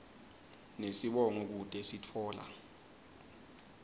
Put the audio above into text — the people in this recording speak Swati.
nesibongo kute sitfola